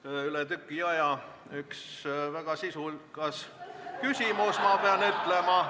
See on üle tüki aja üks väga sisukas küsimus, ma pean ütlema.